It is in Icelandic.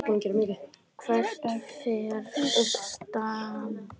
Hvert fer Stam?